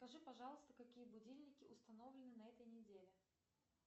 скажи пожалуйста какие будильники установлены на этой неделе